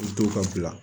U to ka bila